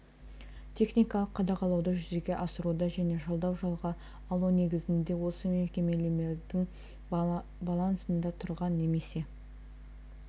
техникалық қадағалауды жүзеге асыруда және жалдау жалға алу негізінде осы мекемелердің балансында тұрған немесе